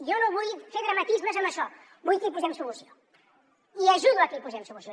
jo no vull fer dramatismes amb això vull que hi posem solució i ajudo a que hi posem solució